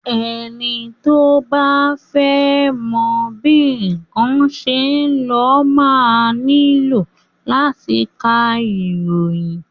Ẹni tí o bá fẹ́ mọ bí nnkan ṣe ń lọ máa nílò láti ka ìròyìn.